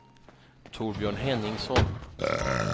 Torbjörn Henningsson